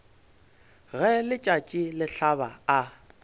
ge letšatši le hlaba a